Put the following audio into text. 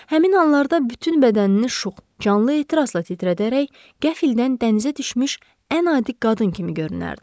Həmin anlarda bütün bədənini şux, canlı ehtirasla titrədərək, qəfildən dənizə düşmüş ən adi qadın kimi görünərdi.